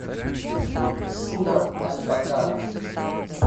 сура аль бакара